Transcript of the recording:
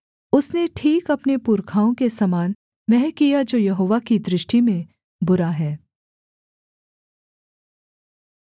उसने ठीक अपने पुरखाओं के समान वह किया जो यहोवा की दृष्टि में बुरा है